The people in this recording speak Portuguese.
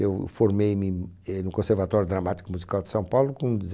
Eu formei-me, eh, no Conservatório Dramático Musical de São Paulo com